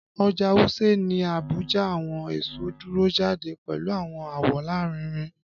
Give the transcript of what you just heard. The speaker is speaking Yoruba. Ọja Wuse ni Abuja, awọn eso duro jade pẹlu awọn awọ larinrin